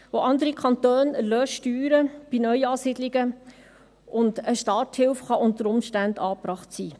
Auch andere Kantone erlassen Steuern bei Neuansiedlungen, und eine Starthilfe könnte unter Umständen angebracht sein.